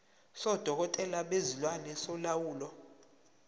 sodokotela bezilwane solawulo